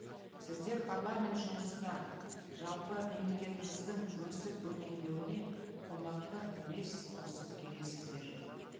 сіздер парламент жұмысына жалпы мемлекетіміздің өсіп өркендеуіне қомақты үлес қосып келесіздер